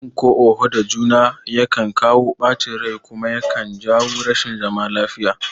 Yin ko oho da juna yakan kawo ɓacin rai kuma yakan jawo rashin zaman lafiya